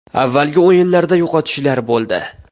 Avvalgi o‘yinlarda yo‘qotishlar bo‘ldi.